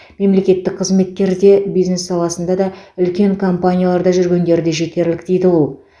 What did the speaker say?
мемлекеттік қызметкері де бизнес саласында да үлкен компанияларда жүргендері де жетерлік дейді ол